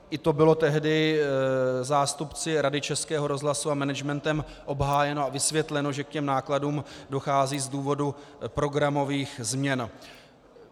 I to bylo tehdy zástupci Rady Českého rozhlasu a managementem obhájeno a vysvětleno, že k těm nákladům dochází z důvodu programových změn.